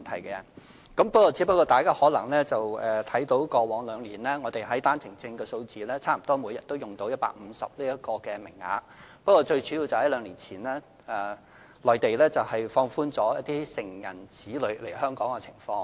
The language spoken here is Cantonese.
大家可能看到過往兩年單程證的數字，即每天差不多用到150個名額，但這個主因是內地在兩年前，放寬了成人子女來港的限制。